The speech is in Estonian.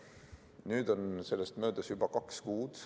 Nüüd on sellest möödas juba kaks kuud.